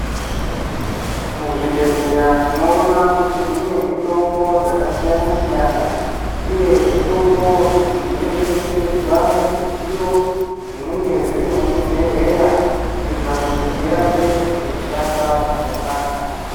Muzvibhedleya ,tinowona kuti mune mitombo dzakasiyana siyana uye mitombo idzi dzino chengetedzwa muzvidziyo zvinenge zvirimu zvibhedleya kuitira kuti dzirambe dzichishanda zvakanaka.